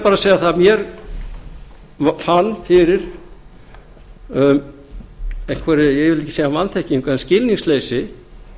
bara að segja það að ég fann fyrir einhverri ég vil ekki segja vanþekkingu eða skilningsleysi